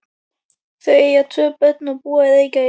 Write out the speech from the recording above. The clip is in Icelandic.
Þau eiga tvö börn og búa í Reykjavík.